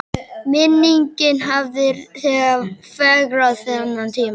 Minningin hafði þegar fegrað þennan tíma.